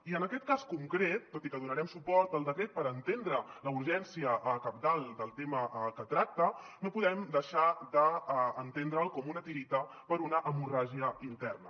i en aquest cas concret tot i que donarem suport al decret perquè entenem la urgència cabdal del tema que tracta no podem deixar d’entendre’l com una tireta per a una hemorràgia interna